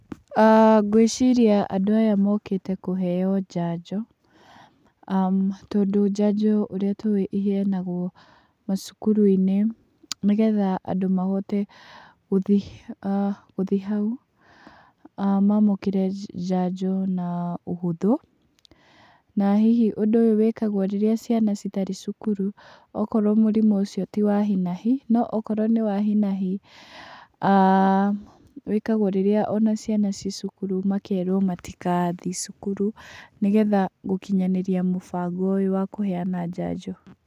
Ngwĩciria andũ aya mokĩte kũheo njanjo, tondũ njanjo ũrĩa tũĩ ĩheanagwo macukuru-inĩ, nĩgetha andũ mahote gũthiĩ gũthiĩ hau mamũkĩre njanjo na ũhũthũ, na hihi ũndũ ũyũ wĩkagwo rĩrĩa ciana itarĩ cukuru okorwo mũrimũ ũcio ti wa hi na hi, okorwo nĩ wa hi na hi wĩkagwo ona rĩrĩa ciana ci cukuru, makerwo matigathiĩ cukuru, nĩgetha gũkinyanĩria mũbango ũyũ wa kũheana njanjo.